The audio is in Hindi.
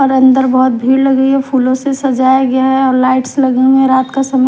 अंदर बहुत भीड़ लगी है फूलों से सजाया गया हैऔर लाइट्स लगी हुई है रात का समय--